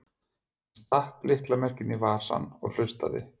Hann stakk lyklamerkinu í vasann og hlustaði.